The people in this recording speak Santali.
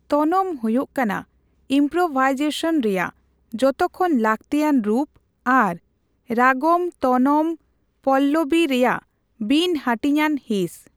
ᱛᱚᱱᱚᱢ ᱦᱳᱭᱳᱜ ᱠᱟᱱᱟ ᱤᱢᱯᱨᱳᱵᱷᱟᱭᱡᱮᱥᱚᱱ ᱨᱮᱭᱟᱜ ᱡᱚᱛᱚ ᱠᱷᱚᱱ ᱞᱟᱹᱠᱛᱤᱭᱟᱱ ᱨᱩᱯ ᱟᱨ ᱨᱟᱜᱚᱢᱼᱛᱚᱱᱚᱢᱼᱯᱚᱞᱞᱚᱵᱤ ᱨᱮᱭᱟᱜ ᱵᱤᱱ ᱦᱟᱹᱴᱤᱧᱟᱱ ᱦᱤᱸᱥ ᱾